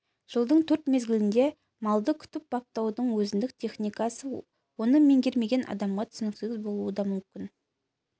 жылдың төрт мезгілінде малды күтіп-баптаудың өзіндік техникасы оны меңгермеген адамға түсініксіз болуы да мүмкін